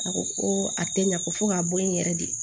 A ko ko a tɛ ɲa ko fɔ ka bɔ yen n yɛrɛ de